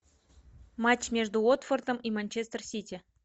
матч между уотфордом и манчестер сити